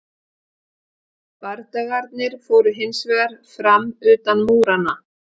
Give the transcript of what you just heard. bardagarnir fóru hins vegar fram utan múranna